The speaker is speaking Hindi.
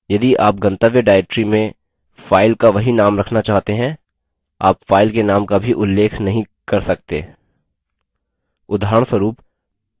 यदि आप गंतव्य directory में file का वही name रखना चाहते हैं आप file के name का भी उल्लेख नहीं कर सकते उदाहरणस्वरूप